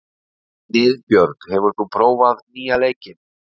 Niðbjörg, hefur þú prófað nýja leikinn?